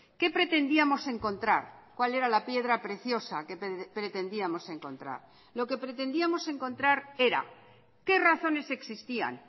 qué pretendíamos encontrar cuál era la piedra preciosa que pretendíamos encontrar lo que pretendíamos encontrar era qué razones existían